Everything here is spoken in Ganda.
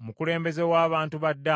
omukulembeze w’abantu ba Ddaani, n’aleeta ekiweebwayo kye.